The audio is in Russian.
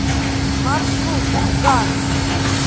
маршрут ганс